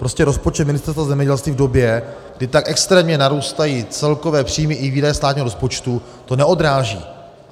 Prostě rozpočet Ministerstva zemědělství v době, kdy tak extrémně narůstají celkové příjmy i výdaje státního rozpočtu, to neodráží.